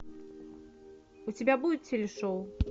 у тебя будет теле шоу